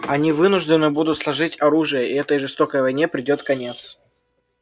они вынуждены будут сложить оружие и этой жестокой войне придёт конец